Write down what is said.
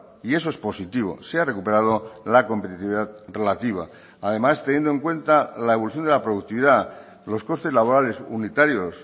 y eso es positivo se ha recuperado la competitividad relativa además teniendo en cuenta la evolución de la productividad los costes laborales unitarios